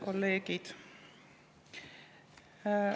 Head kolleegid!